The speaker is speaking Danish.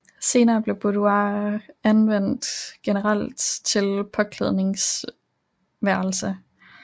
Senere blev boudoir anvendt generelt til påklædningsværelse